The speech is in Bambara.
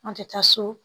An tɛ taa so